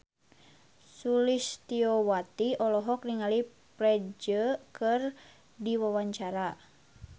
Sulistyowati olohok ningali Ferdge keur diwawancara